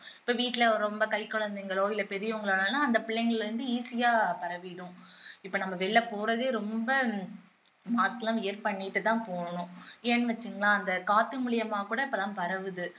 இப்போ வீட்டுல ரொம்ப கைக்குழந்தைங்களோ இல்ல பெரியவங்களாலும் அந்த பிள்ளைங்களில இருந்து easy ஆ பரவிடும் இப்போ நம்ம வெளியில போறதே ரொம்ப mask எல்லாம் wear பண்ணிட்டுதான் போகணும் ஏன்னு வச்சுக்கோங்களேன் அந்த காத்து மூலமா கூட இப்போ எல்லாம் பரவுது